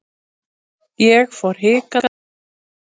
Ég fór hikandi inn.